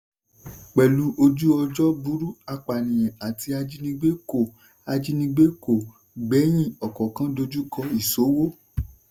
pẹ̀lú ojú-ọjọ́ burú apànìyàn àti ajínigbé kò ajínigbé kò gbẹ́yìn ọkọ̀ọ̀kan dojúkọ ìṣówó.